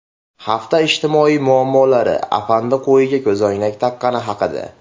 Hafta ijtimoiy muammolari: Afandi qo‘yiga ko‘zoynak taqqani haqida.